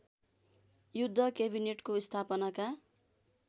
युद्ध केबिनेटको स्थापनाका